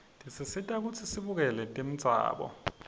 tesisita kutsi sibukele tembzalo